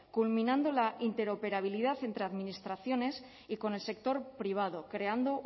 culminando la interoperabilidad entre administraciones y con el sector privado creando